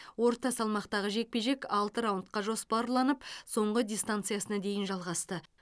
орта салмақтағы жекпе жек алты раундқа жоспарланып соңғы дистанциясына дейін жалғасты